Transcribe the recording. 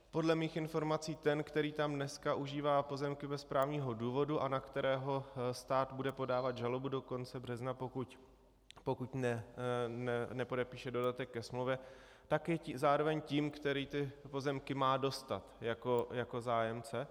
Podle mých informací ten, který tam dneska užívá pozemky bez právního důvodu a na kterého stát bude podávat žalobu do konce března, pokud nepodepíše dodatek ke smlouvě, tak je zároveň tím, který ty pozemky má dostat jako zájemce.